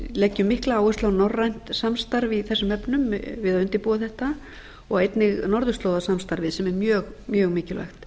leggjum mikla áherslu á norrænt samstarf í þessum efnum við að undirbúa þetta og einnig norðurslóðarsamstarfið sem er mjög mjög mikilvægt